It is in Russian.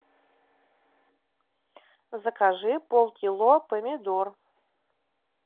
закажи полкило помидор